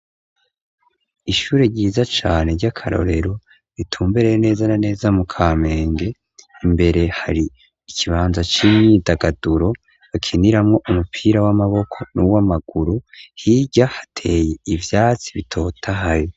Ishure ryiza cane ry'akarorero ritumbereye neza na neza mu Kamenge imbere hari ikibanza c'imyidagaduro bakiniramo umupira w'amaboko n'uw'amaguru, hirya hateye ivyatsi bitotahaye.